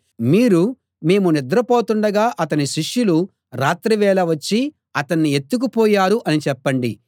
మీరు మేము నిద్రపోతుండగా అతని శిష్యులు రాత్రివేళ వచ్చి అతణ్ణి ఎత్తుకు పోయారు అని చెప్పండి